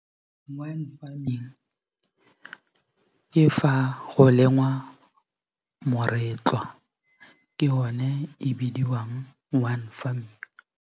Wine farming ke fa go lengwa moretlwa, ke o ne e bidiwang wine farming.